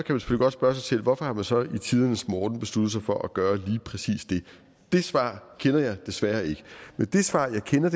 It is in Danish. godt spørge sig selv hvorfor man så i tidernes morgen har besluttet sig for at gøre lige præcis det det svar kender jeg desværre ikke men det svar jeg kender